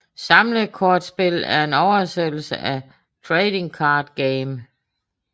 Samlekortspil er en oversættelse af trading card game